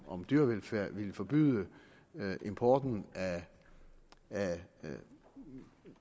om dyrevelfærd ville forbyde importen af